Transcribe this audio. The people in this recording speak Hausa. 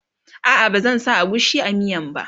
a'a ba zan sa agushi a miyan ba